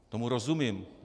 Tomu rozumím.